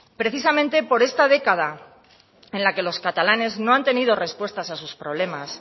precisamente por esta década en la que los catalanes no han tenido respuestas a sus problemas